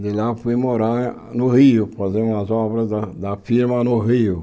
De lá fui morar no Rio, fazer umas obras da da firma no Rio.